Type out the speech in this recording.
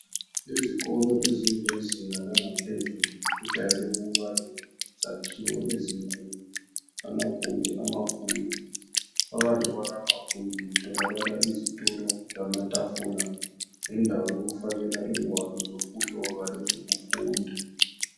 Izikolo zezinga laphezulu, zijayele ukuba lezakhiwo ezinkulu, amagumbi amakhulu. Phakathi kwamagumbi lawa kutholakala izitulo lamatafula okufakela ingwalo zokuloba lezokufunda.